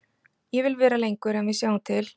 Ég vil vera lengur en við sjáum til.